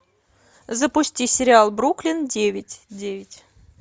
запусти сериал бруклин девять девять